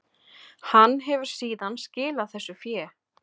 Hann hefur síðan skilað þessu fé